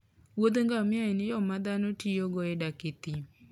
wuodh ngamia en yo ma dhano tiyogo e dak e thim.